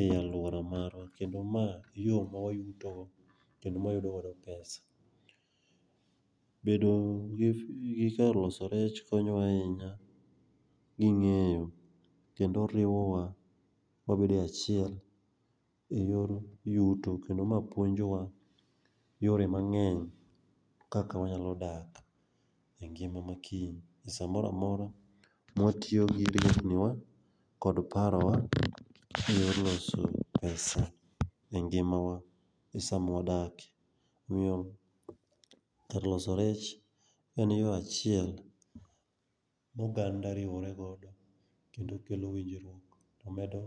e alwora marwa, kendo ma e yo mawayutogo, kendo mawayudo godo pesa. Bedo gi kar loso rech konyowa ahinya gi ng'eyo kendo riwowa, wabedo e achiel e yor yuto kendo ma puonjowa yore mang'eny kaka wanyalo dak e ngima makiny,e sa mora mora mawatiyo gi riekniwa kod parowa,e yor loso pesa e ngimawa e sa mwadak, omiyo kar loso rech en yo achiel ma oganda riwore godo kendo kelo winjruok, to medo